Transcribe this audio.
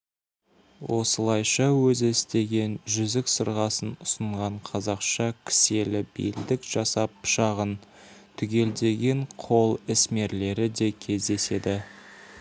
осылайша өзі істеген жүзік-сырғасын ұсынған қазақша кіселі белдік жасап пышағын түгелдеген қол ісмерлері де кездеседі